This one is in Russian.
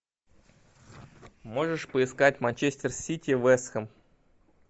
можешь поискать манчестер сити вест хэм